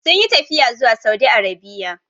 Sun yi tafiya zuwa Saudi Arabia.